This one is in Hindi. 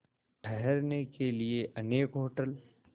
ठहरने के लिए अनेक होटल